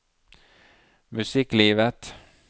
musikklivet